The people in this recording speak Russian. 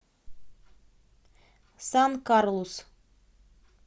сан карлус